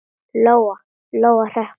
Lóa-Lóa hrökk við.